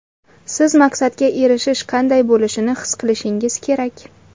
Siz maqsadga erishish qanday bo‘lishini his qilishingiz kerak.